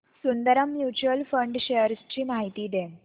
Sundaram mutual fund shares ची माहिती दे